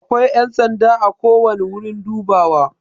Akwai yan sanda ako wani wurin dubawa.